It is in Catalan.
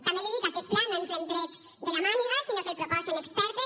també l’hi dic aquest pla no ens l’hem tret de la màniga sinó que el proposen expertes